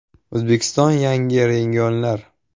O‘zbekistonda yangi “Regionlar.